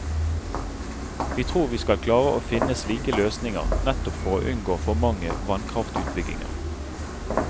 Vi tror vi skal klare å finne slike løsninger, nettopp for å unngå for mange vannkraftutbygginger.